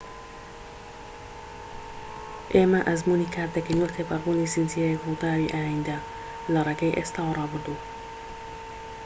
ئێمە ئەزموونی کات دەکەین وەک تێپەڕبوونی زنجیرەیەک ڕووداوی ئایندە لە ڕێگەی ئێستا و ڕابردوو